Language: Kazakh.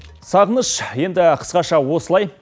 сағыныш енді қысқаша осылай